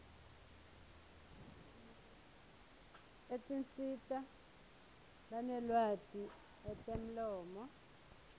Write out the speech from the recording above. etinsita lanelwati etemlomo